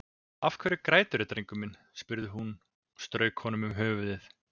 Af hverju græturðu drengurinn minn, spurði hún og strauk honum um höfuðið.